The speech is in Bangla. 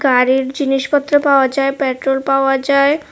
গাড়ির জিনিসপত্র পাওয়া যায় পেট্রোল পাওয়া যায়।